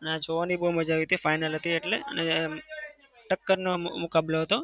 અને આ જોવાની બઉ મજા આવી final હતી એટલે. અને ટક્કરનો મુકાબલો હતો.